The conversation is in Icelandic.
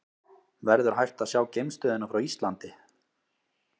Verður hægt að sjá geimstöðina frá Íslandi?